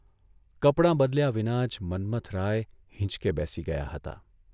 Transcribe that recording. કપડાં બદલ્યા વિના જ મન્મથરાય હીંચકે બેસી ગયા હતા.